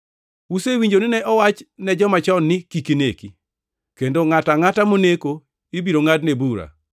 “Usewinjo ni ne owach ne joma chon ni, ‘Kik ineki, + 5:21 \+xt Wuo 20:13\+xt* kendo ngʼato angʼata moneko ibiro ngʼadne bura.’